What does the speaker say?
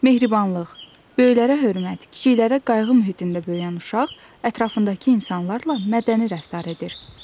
Mehribanlıq, böyüklərə hörmət, kiçiklərə qayğı mühitində böyüyən uşaq ətrafındakı insanlarla mədəni rəftar edir.